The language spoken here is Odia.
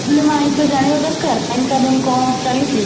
ଆଇନ ଜାଣିବା ଦରକାର ଆଇନ କାନୁନ କ'ଣ ଚାଲିଛି?